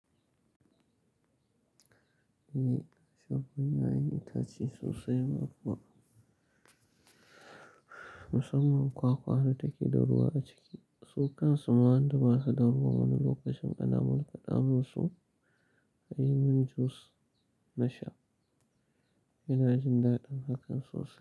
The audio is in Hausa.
Eh, shafan ƴaƴan itace sosai ma kuwa musamman kwakwa ne take da ruwa a ciki. Su kan su ma wanda basa da ruwa wani lokacin ana markaɗa mun su a yi min jus na sha. Ina jin daɗin hakan sosai.